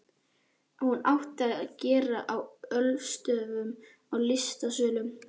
Hún átti að gerast á ölstofum og í listasölum.